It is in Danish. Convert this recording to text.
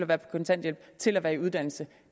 være på kontanthjælp til at være i uddannelse